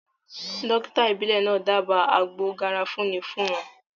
Dókítà ìbílẹ̀ náà dába àgbo garafuni fún wọn